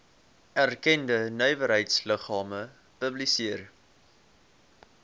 erkende nywerheidsliggame publiseer